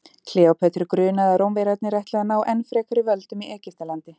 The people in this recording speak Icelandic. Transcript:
Kleópötru grunaði að Rómverjarnir ætluðu að ná enn frekari völdum í Egyptalandi.